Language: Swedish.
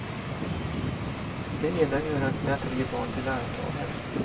I det ena gör han sina tre barn till arvtagare.